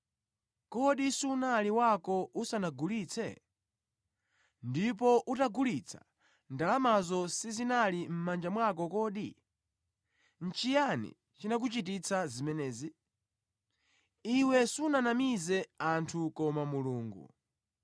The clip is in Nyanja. Kodi sunali wako usanagulitse? Ndipo utagulitsa ndalamazo sizinali mʼmanja mwako kodi? Nʼchiyani chinakuchititsa zimenezi? Iwe sunanamize anthu koma Mulungu.”